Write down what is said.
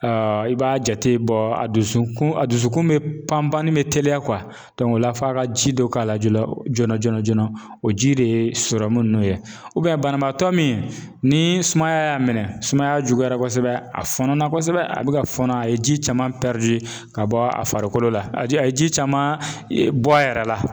i b'a jate bɔ a dusu kun a dusukun bi pan pan ni bi teliya o la f'a ka ji dɔ k'a la joona joona joona joona o ji de ye nunnu ye banabaatɔ min ni sumaya y'a minɛ sumaya juguyara kosɛbɛ a fɔnɔ na kosɛbɛ, a bi ka fɔnɔ a ye ji caman ka bɔ a farikolo la, a ji a ye ji caman bɔ a yɛrɛ la